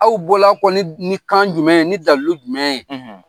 Aw bɔla kɔ ni ni kan jumɛn ye ni dalu jumɛn ye